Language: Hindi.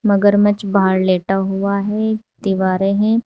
मगरमच्छ बाहर लेटा हुआ है दीवारें हैं।